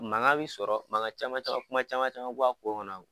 Mankan bi sɔrɔ mankan caman caman, kuma caman caman bɔ a ko kɔnɔ.